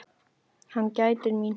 Hann gætir mín.